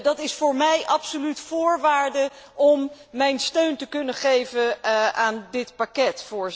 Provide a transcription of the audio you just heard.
Dat is voor mij absoluut voorwaarde om mijn steun te kunnen geven aan dit pakket.